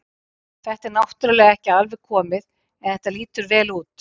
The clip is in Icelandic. Þetta er náttúrulega ekki alveg komið en þetta lýtur vel út.